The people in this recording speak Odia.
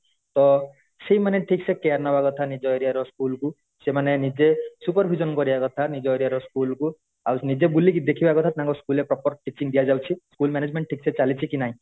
ତ ସେଇମାନେ ଠିକ ସେ care ନବା କଥା ନିଜ area ର school କୁ ସେମାନେ ନିଜେ super vision କରିବା କଥା ନିଜ area ର school କୁ ଆଉ ନିଜେ ବୁଲିକି ଦେଖିବା କଥା ତାଙ୍କ school ରେ proper teaching ଦେଆଯାଉଛି school management ଠିକ ସେ ଚାଲିଛି କି ନାଇ